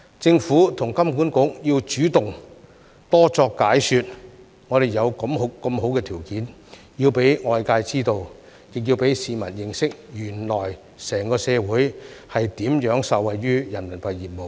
政府和金管局要主動多作解說，我們有如此好的條件，要讓外界知道，亦要讓市民認識，原來整個社會如何受惠於人民幣業務。